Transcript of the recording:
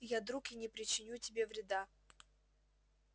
я друг и не причиню тебе вреда